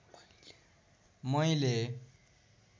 मैले